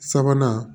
Sabanan